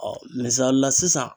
misalila sisan